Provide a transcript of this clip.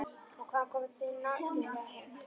Og hvaðan kom þeim nægjanleg heift?